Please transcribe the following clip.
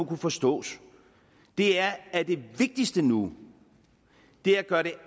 kan forstås er at det vigtigste nu er at gøre det